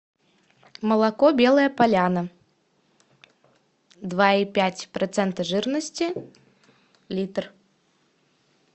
молоко белая поляна два и пять процента жирности литр